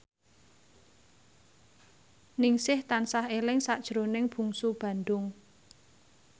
Ningsih tansah eling sakjroning Bungsu Bandung